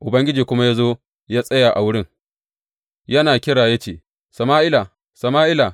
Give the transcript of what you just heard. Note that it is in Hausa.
Ubangiji kuma ya zo ya tsaya a wurin, yana kira ya ce, Sama’ila, Sama’ila!